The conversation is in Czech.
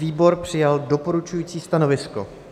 Výbor přijal doporučující stanovisko.